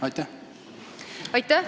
Aitäh!